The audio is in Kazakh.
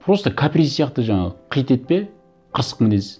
просто каприз сияқты жаңағы қитетпе қырсық мінез